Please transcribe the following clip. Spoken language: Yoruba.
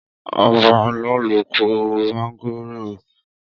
Ọbalolú kò mángòrò tó yẹ kó jẹ́ ti tèmi wa.